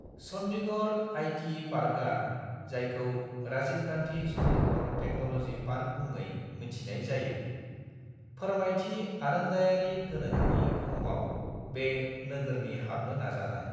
Chandigarh IT पार्कआ (जायखौ Rajiv Gandhi Chandigarh technology park मुङै मिन्थिनाय जायो) फोरमायथि आरोंदायारि गोनोखोनि बुहुमाव बे नोगोरनि हाबनो नाजानाय।